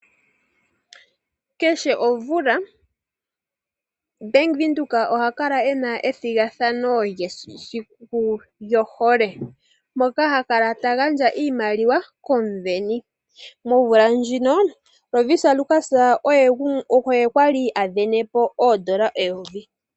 Kehe omvula Bank Windhoek oha kala e na ethigathano lyesiku lyohole, moka ha kala ta gandja iimaliwa komusindani. Momvula ndjino, Lovisa Lukas oye a li a sindana po oondola eyovi.